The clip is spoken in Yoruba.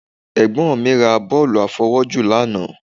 Ẹ̀gbọ́n mi ra bọ́ọ̀lù àfọwọ́jù lánàá